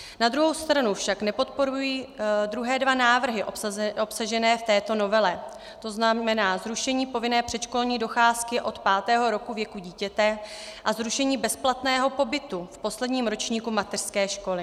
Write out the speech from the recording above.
Na druhou stranu však nepodporuji druhé dva návrhy obsažené v této novele, to znamená zrušení povinné předškolní docházky od pátého roku věku dítěte a zrušení bezplatného pobytu v posledním ročníku mateřské školy.